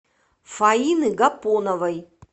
фаины гапоновой